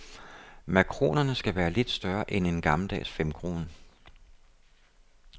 Makronerne skal være lidt større end en gammeldags femkrone.